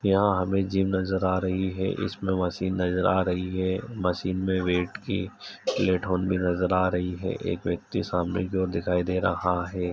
यहाँ हमें जिम नजर आ रही है। इसमें मशीन नजर आ रही है। मशीन में वेट की प्लेट हॉल भी नजर आ रही है। एक व्यक्ति सामने की और दिखाई दे रहा है।